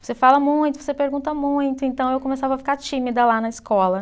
Você fala muito, você pergunta muito, então eu começava a ficar tímida lá na escola.